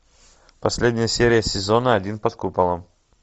последняя серия сезона один под куполом